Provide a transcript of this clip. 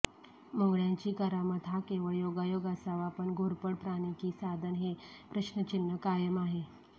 मुंगळय़ांची करामत हा केवळ योगायोग असावा पण घोरपड प्राणी की साधन हे प्रश्नचिन्ह कायम आहे